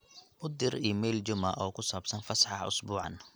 u dir iimayl juma oo ku sabsan fasaxa isbuucan